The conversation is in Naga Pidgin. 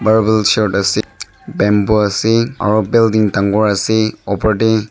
marble sheet ase bamboo ase aro building dangor ase opor tae --